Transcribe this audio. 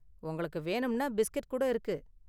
உங்களுக்கு வேணும்னா பிஸ்கெட் கூட இருக்கு.